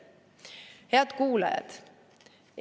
Head kuulajad!